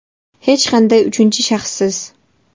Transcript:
Hech qanday uchinchi shaxssiz!